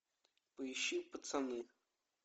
поищи пацаны